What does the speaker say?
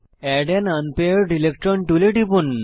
add an unpaired electron টুলে টিপুন